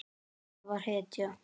Hann var hetja.